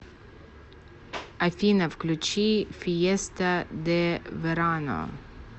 афина включи фиеста де верано